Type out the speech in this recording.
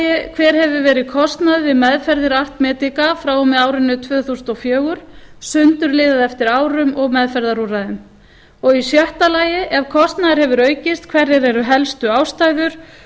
fimmti hver hefur verið kostnaður við meðferðir art medica frá og með árinu tvö þúsund og fjögur sundurliðað eftir árum og meðferðarúrræðum sjötta ef kostnaður hefur aukist hverjar eru helstu ástæður